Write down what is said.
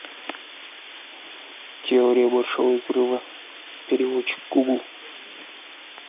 теория большого взрыва переводчик гугл